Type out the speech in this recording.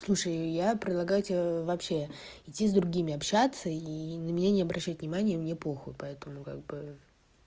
слушай я предлагаю тебе вообще идти с другими общаться и на меня не обращать внимания мне похуй поэтому как бы